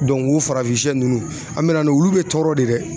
o farafin sɛ ninnu an bɛna n'o ye olu bɛ tɔrɔ de dɛ